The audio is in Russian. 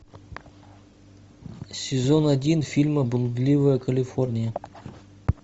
сезон один фильма блудливая калифорния